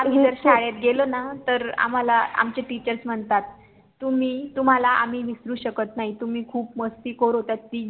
आम्ही जर शाळेत गेलोना तर आम्हाला आमचे TEACHERS म्हणतात तुम्ही तुम्हाला आम्ही विसरू शकत नाही तुम्ही खूप मस्तीखोर होत्या तिघी